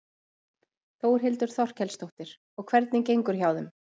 Þórhildur Þorkelsdóttir: Og hvernig gengur hjá þeim?